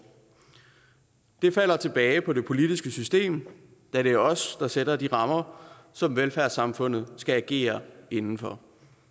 det falder tilbage på det politiske system da det er os der sætter de rammer som velfærdssamfundet skal agere inden for